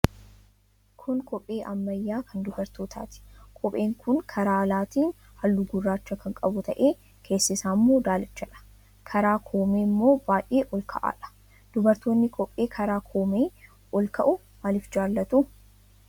Kun kophee ammayyaa kan dubartootaati. Kopheen kun karaa alaatiin halluu gurraacha kan qabu ta'ee, keessi isaa immoo daalachadha. Karaa koomee immoo baay'ee ol ka'aadha. Dubartoonni kophee karaa koomee ol ka'u maaliif jaallatu?